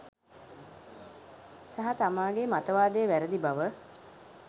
සහ තමාගේ මත වාදය වැරදි බව